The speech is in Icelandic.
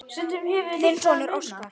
Þinn sonur, Óskar.